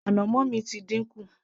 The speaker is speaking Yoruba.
ànàmọ́ mi ti dínkù